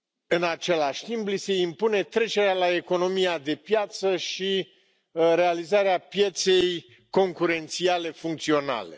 În același timp, li se impune trecerea la economia de piață și realizarea pieței concurențiale funcționale.